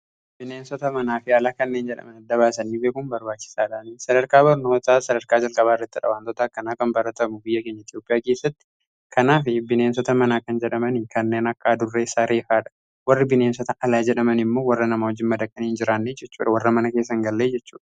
bineensota manaa fi ala kanneen jedhamani dabaasanii beekuun barbaachisaadhaani sadarkaa barnootaa sadarkaa jarqabaa irrattidha. waantoota akkanaa kan baratamu biyya keenya itiyoopiyaa keessatti kanaa fi bineensota manaa kan jedhamanii kanneen akka adurree saareefaadhaa warri bineensota alaa jedhamanii immoo warra nama wajin madaqanii hin jiraanne jechudha. warra mana keessa hin gallee jechudha